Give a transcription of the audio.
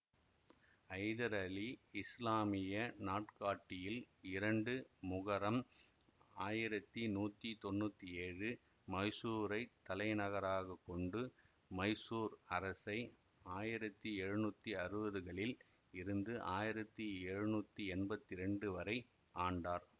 ஐதர் அலி இசுலாமிய நாட்காட்டியில் இரண்டு முகரம் ஆயிரத்தி நூத்தி தொன்னூத்தி ஏழு மைசூரைத் தலைநகராக கொண்டு மைசூர் அரசை ஆயிரத்தி எழுநூத்தி அறுவதுகளில் இருந்து ஆயிரத்தி எழுநூத்தி எம்பத்தி இரண்டு வரை ஆண்டார்